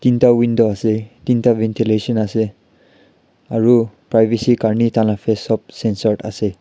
ekta window ase tinta ventilation ase aru privacy karne taihan la face sob sensor ase.